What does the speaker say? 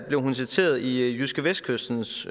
blev hun citeret i jydskevestkystens